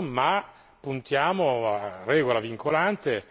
Allora basta col massimo ribasso ma puntiamo a regola vincolante,